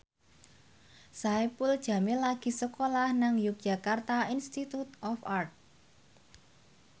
Saipul Jamil lagi sekolah nang Yogyakarta Institute of Art